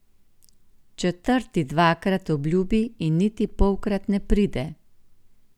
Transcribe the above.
Četrti dvakrat obljubi in niti polkrat ne pride.